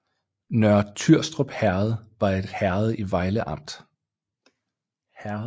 Nørre Tyrstrup Herred var et herred i Vejle Amt